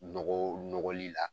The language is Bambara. Nɔgɔw nɔgɔli la